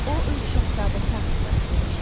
O öz şahzadəsi haqqında fikirləşirdi.